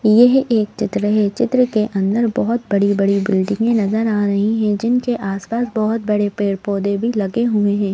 यह एक चित्र है चित्र के अंदर बहुत बड़ी-बड़ी बिल्डिंगें नजर आ रही हैं जिनके आसपास बहुत बड़े पेड़-पौधे भी लगे हुए हैं।